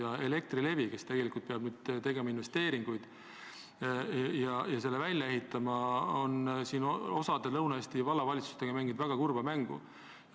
Aga Elektrilevi, kes peab nüüd tegema investeeringuid ja selle võrgu välja ehitama, mängib mõnede Lõuna-Eesti vallavalitsustega kurba mängu.